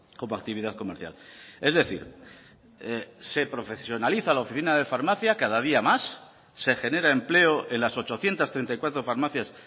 como actividad comercial es decir se profesionaliza la oficina de farmacia cada día más se genera empleo en las ochocientos treinta y cuatro farmacias